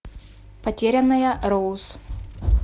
потерянная роуз